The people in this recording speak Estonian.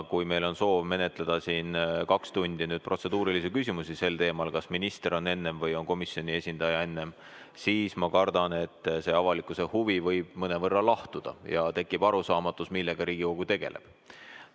Kui meil on soov menetleda kaks tundi protseduurilisi küsimusi teemal, kas minister on enne või on komisjoni esindaja enne, siis ma kardan, et avalikkuse huvi võib mõnevõrra lahtuda ja tekkida arusaamatus, millega Riigikogu tegeleb.